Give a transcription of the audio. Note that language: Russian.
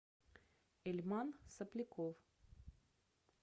эльман сопляков